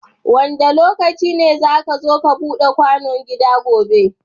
Wanda lokaci ne zaka zo ka Buda kwano gida gobe